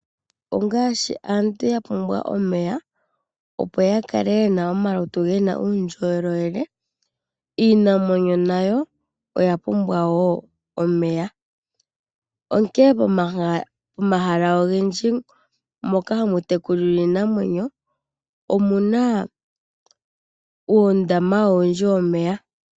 Ongaashi aantu ya pumbwa omeya, opo ya kale ye na omalutu ge na uundjolowele, iinamwenyo nayo oya pumbwa wo omeya, onkene pomahala ogendji mpoka hapu tekulilwa iinamwenyo omu na uundama owundji womeya.